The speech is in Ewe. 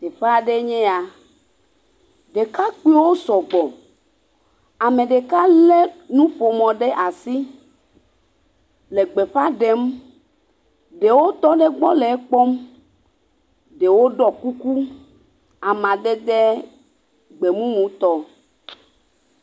teƒeaɖeɛ nye ya ɖekakpiwo sɔgbɔ amegeɖewo le nuƒomɔ ɖe asi le gbeƒaɖem ɖewo tɔ ɖe gbɔ le ekpɔm ɖewo ɖɔ kuku amadede gbemumu tɔ